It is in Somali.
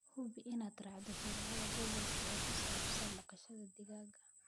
Hubi inaad raacdo sharciyada gobolka ee ku saabsan dhaqashada digaagga.